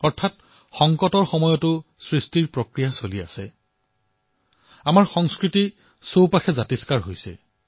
অৰ্থাৎ সংকটৰ সময়তো প্ৰতিটো ক্ষেত্ৰতে সৃজনৰ প্ৰক্ৰিয়া অব্যাহত আছে আৰু আমাৰ সংস্কৃতি পুষ্পিতপল্লবিত হৈছে